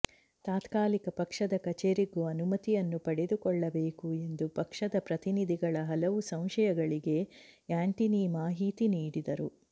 ತಾತ್ಕಾಲಿಕ ಪಕ್ಷದ ಕಚೇರಿಗೂ ಅನುಮತಿಯನ್ನು ಪಡೆದುಕೊಳ್ಳಬೇಕು ಎಂದು ಪಕ್ಷದ ಪ್ರತಿನಿಧಿಗಳ ಹಲವು ಸಂಶಯಗಳಿಗೆ ಆ್ಯಂಟನಿ ಮಾಹಿತಿ ನೀಡಿದರು